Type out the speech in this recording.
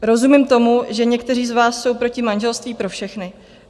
Rozumím tomu, že někteří z vás jsou proti manželství pro všechny.